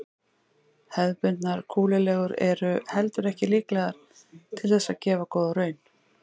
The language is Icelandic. Hefðbundnar kúlulegur eru heldur ekki líklegar til þess að gefa góða raun.